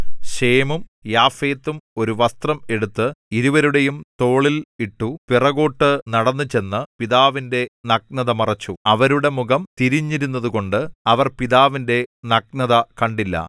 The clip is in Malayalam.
ശേമും യാഫെത്തും ഒരു വസ്ത്രം എടുത്ത് ഇരുവരുടെയും തോളിൽ ഇട്ടു പിറകോട്ടു നടന്നുചെന്ന് പിതാവിന്റെ നഗ്നത മറച്ചു അവരുടെ മുഖം തിരിഞ്ഞിരുന്നതുകൊണ്ട് അവർ പിതാവിന്റെ നഗ്നത കണ്ടില്ല